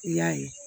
I y'a ye